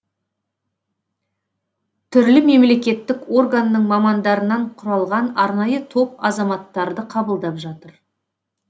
түрлі мемлекеттік органның мамандарынан құралған арнайы топ азаматтарды қабылдап жатыр